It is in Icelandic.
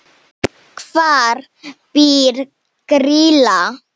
Hvar býr Grýla?